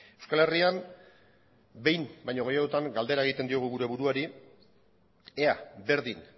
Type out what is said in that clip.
euskal herrian behin baino gehiagotan galdera egiten diogu gure buruari ea berdin